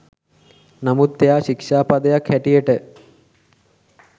නමුත් එයා ශික්ෂා පදයක් හැටියට